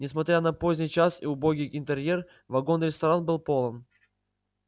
несмотря на поздний час и убогий интерьер вагон-ресторан был полон